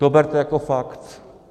To berte jako fakt.